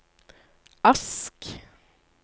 Ask